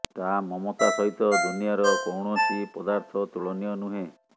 ତା ମମତା ସହିତ ଦୁନିଆର କୌଣସି ପଦାର୍ଥ ତୁଳନୀୟ ନୁହେଁ